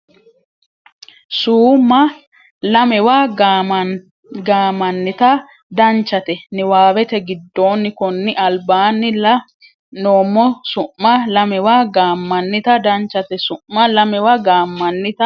su ma lamewa gaammannita Danchate niwaawete giddonni konni albaanni la noommo su ma lamewa gaammannita Danchate su ma lamewa gaammannita.